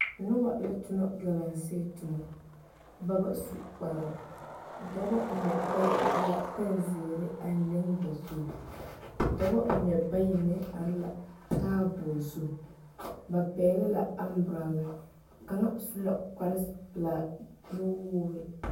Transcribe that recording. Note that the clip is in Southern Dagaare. Daa poɔ la ka noba be ka ba yagle yagle zupile ane kaayɛ ka kaŋ iri a zupili are ne a yɛrɛ kpar woɔ kaŋ meŋ nuure be a zupili poɔ kyɛ ka ba mine meŋ are a kaara